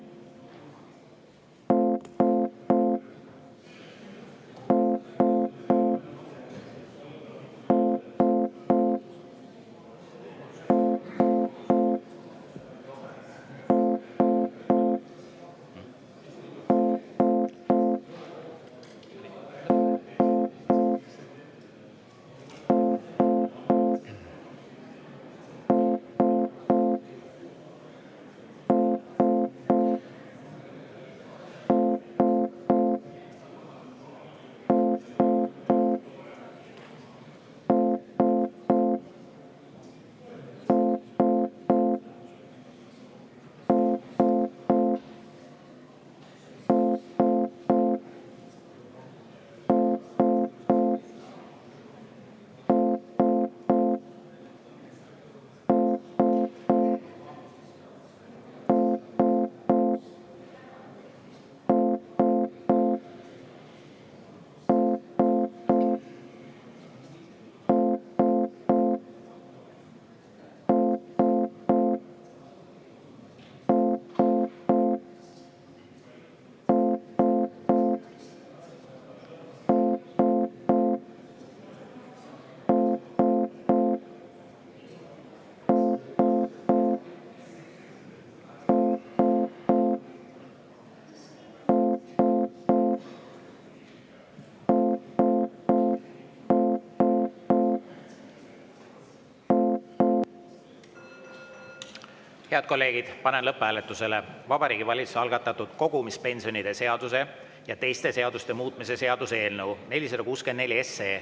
Head kolleegid, panen lõpphääletusele Vabariigi Valitsuse algatatud kogumispensionide seaduse ja teiste seaduste muutmise seaduse eelnõu 464.